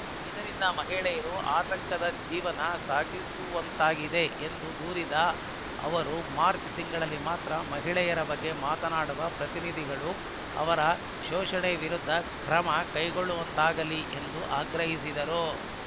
ಇದರಿಂದ ಮಹಿಳೆಯರು ಆತಂಕದ ಜೀವನ ಸಾಗಿಸುವಂತಾಗಿದೆ ಎಂದು ದೂರಿದ ಅವರು ಮಾರ್ಚ್ ತಿಂಗಳಲ್ಲಿ ಮಾತ್ರ ಮಹಿಳೆಯರ ಬಗ್ಗೆ ಮಾತನಾಡುವ ಜನಪ್ರತಿನಿಧಿಗಳು ಅವರ ಶೋಷಣೆ ವಿರುದ್ಧ ಕ್ರಮ ಕೈಗೊಳ್ಳುವಂತಾಗಲಿ ಎಂದು ಆಗ್ರಹಿಸಿದರು